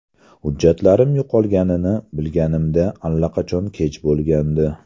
Hujjatlarim yo‘qolganini bilganimda allaqachon kech bo‘lgandi.